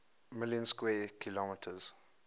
million square kilometers